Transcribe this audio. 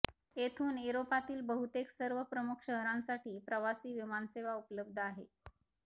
येथून युरोपातील बहुतेक सर्व प्रमुख शहरांसाठी प्रवासी विमानसेवा उपलब्ध आहे